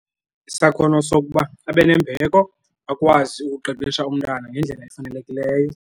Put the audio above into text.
Isakhono sokuba abe nembeko akwazi ukuqeqesha umntana ngendlela efanelekileyo.